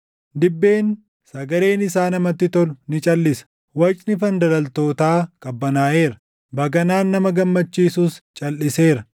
Dibbeen sagaleen isaa namatti tolu ni calʼisa; wacni fandalaltootaa qabbanaaʼeera; baganaan nama gammachiisus calʼiseera.